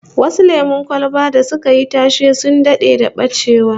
Some popular soft drinks went out of production, like Brahma Orange